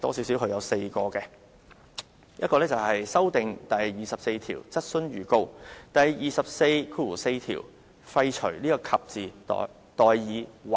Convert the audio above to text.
首先，他建議修訂第24條，在第244條廢除"及"而代以"或"。